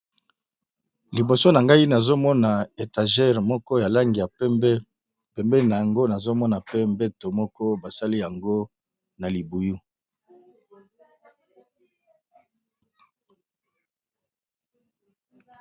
Liboso na ngai nazomona étagere moko ya langi ya pembe, pembeni na yango nazomona pe mbeto moko basali yango na libuyu.